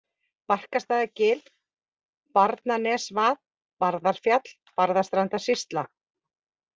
Barkastaðargil, Barnanesvað, Barðarfjall, Barðastrandarsýsla